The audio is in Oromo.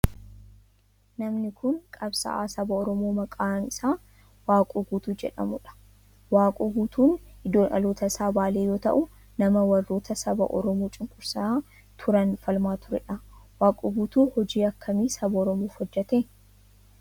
Namni kun qabsa'aa saba oromoo maqaan isaa Waaqoo Guutuu jedhamudha. Waaqoon Guutuu iddoon dhaloota isaa Baalee yoo ta'u nama warroota saba oromoo cunqursaa turan falmaa turedha. Waaqoo Guutuu hojii akkamii saba oromoof hojjete?